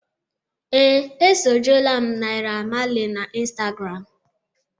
Ee, esojuola m Naira Marley na Instagram